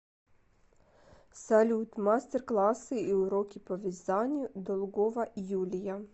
салют мастер классы и уроки по вязанию долгова юлия